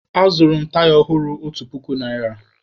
Azụrụ m taya ọhụrụ otu puku naịra.